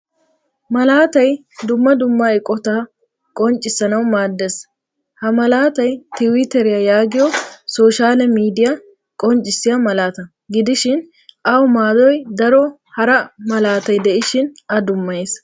Malaatay dumma dumma eqqotatatqonccissanawu maadees. Ha malaataay tiwiteriyaa yaagiyo soshale miidiya qonccisiya malaataa gidishin awu maadoy daro hara maalattay de'ishin a dummayees.